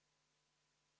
V a h e a e g